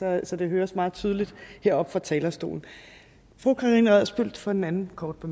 her så det høres meget tydeligt heroppe på talerstolen fru karina adsbøl for den anden korte